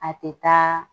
A tɛ taa